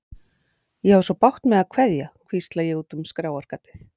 Ég á svo bágt með að kveðja, hvísla ég út um skráargatið.